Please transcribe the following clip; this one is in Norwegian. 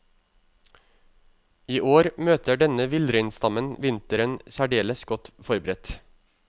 I år møter denne villreinstammen vinteren særdeles godt forberedt.